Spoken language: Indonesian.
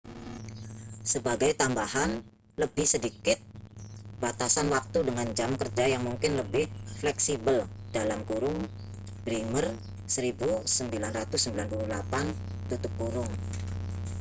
sebagai tambahan lebih sedikit batasan waktu dengan jam kerja yang mungkin lebih fleksibel. bremer 1998